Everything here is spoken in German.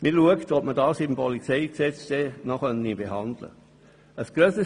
Man prüft, ob dies im Polizeigesetz noch behandelt werden kann.